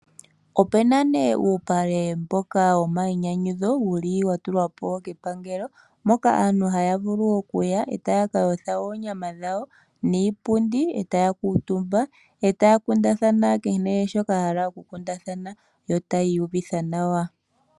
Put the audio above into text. Opu na nduno uupale mboka womayinyanyudho wa tulwa po kepangelo mpoka aantu haya vulu okuya e taya ka yotha oonyama dhawo niipundi e taya kuutumba e taya kundathana kehe shoka ya hala okukundathana yo taya iyuvitha nawa.